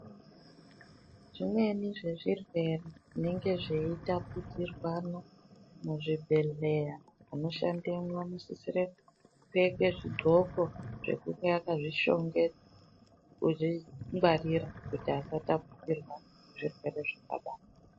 Zvimweni zvezvirwere zvinenge zveitapudzirwana muzvibhedhleya, vanoshandemwo vanosisire kupfeke zvidxoko zvekunge akazvishongedza, kuzvingwarira kuti asatapudzirwa zvirwere zvakadaro.